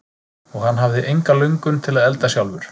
Og hann hafði enga löngun til að elda sjálfur.